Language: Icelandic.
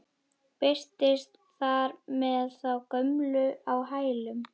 Birtist þar með þá gömlu á hælunum.